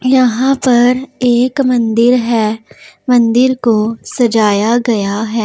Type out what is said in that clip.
यहां पर एक मंदिर है मंदिर को सजाया गया है।